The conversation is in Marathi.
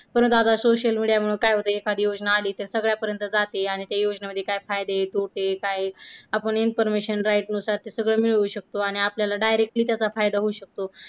परत आता social media मुळे काय होतंय एखादी योजना आली तर सगळ्यांपर्यंत जाते आणि त्या योजनांमध्ये काय फायदे तोटे ते काय आपण information right नुसार ते सगळं मिळू शकतो आणि आपल्याला direct ली त्याचा फायदा होऊ शकतो.